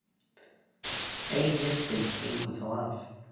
Ein nifteind gengur þá af.